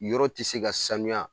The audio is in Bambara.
Yɔrɔ ti se ka sanuya